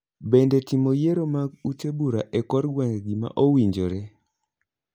Bende timo yiero mag ute bura e kor gweng'e gima owinjore?